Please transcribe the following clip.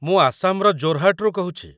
ମୁଁ ଆସାମର ଜୋରହାଟରୁ କହୁଛି ।